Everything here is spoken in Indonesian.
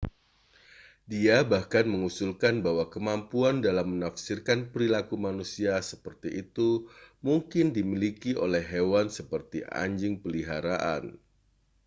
dia bahkan mengusulkan bahwa kemampuan dalam menafsirkan perilaku manusia seperti itu mungkin dimiliki oleh hewan seperti anjing peliharaan